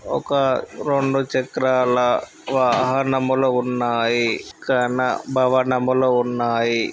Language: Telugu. ఒక రెండు చక్రాల వాహనములు ఉన్నాయి. కాన భవనాలు ఉన్నాయి.